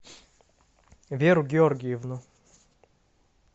веру георгиевну